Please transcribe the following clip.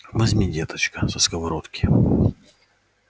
возьми деточка со сковородки